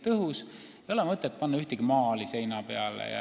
Näiteks ei ole seal mõtet panna ühtegi maali seina peale.